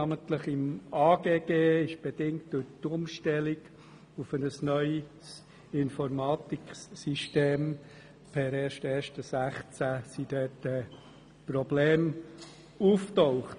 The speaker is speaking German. Namentlich im AGG sind bedingt durch die Umstellung auf ein neues Informatiksystem per 1. 1. 2016 Probleme aufgetaucht.